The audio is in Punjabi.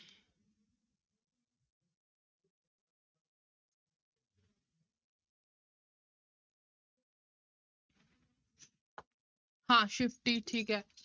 ਹਾਂ shifty ਠੀਕ ਹੈ।